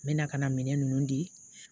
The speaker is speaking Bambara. N bɛ na ka na minɛn ninnu di